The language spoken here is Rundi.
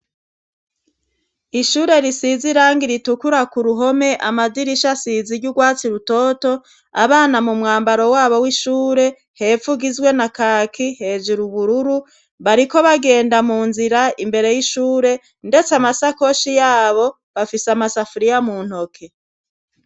Ishure rusiz'irangi ritukura k'uruhome, amadirisha asiz'iry'ugwatsi rutoto abana mumwambaro wabo w'ishure hepf'ugizwe na kaki hejura ubururu bariko bagenda munzira imbere y'ishure ndetse amasakoshi yabo bafise amasafuriya muntoke.